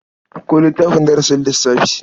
Ɗauko littafin darasin lssafi.